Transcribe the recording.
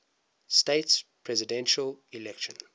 states presidential election